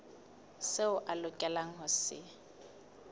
seo a lokelang ho se